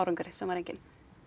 árangri sem var enginn